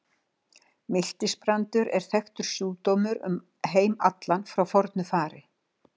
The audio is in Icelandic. Miltisbrandur er þekktur sjúkdómur um heim allan frá fornu fari.